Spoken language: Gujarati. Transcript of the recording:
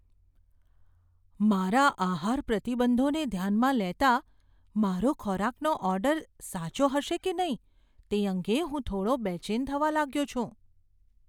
મારા આહાર પ્રતિબંધોને ધ્યાનમાં લેતા, મારો ખોરાકનો ઓર્ડર સાચો હશે કે નહીં તે અંગે હું થોડો બેચેન થવા લાગ્યો છું.